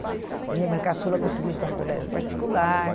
A minha irmã caçula conseguiu estudar em colégio particular.